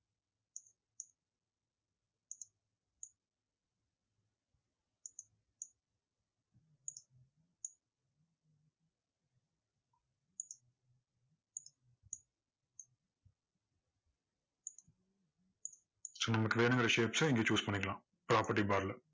so நமக்கு வேணுங்கிற விஷயத்த இங்க choose பண்ணிக்கலாம் property bar ல